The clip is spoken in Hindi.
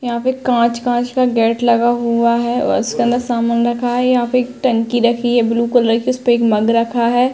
यहा पे काच काच का गेट लगा हुआ है। उसके अंदर सामान रखा है। यहा पे एक टंकी रखी है ब्लू कलर की उसपे एक मग रखा है।